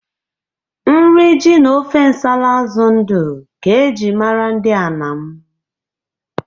Nri ji na ofe nsala azụ ndụ ka e ji mara ndị Anam.